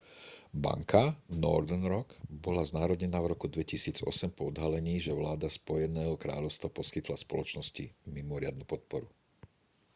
banka northern rock bola znárodnená v roku 2008 po odhalení že vláda spojeného kráľovstva poskytla spoločnosti mimoriadnu podporu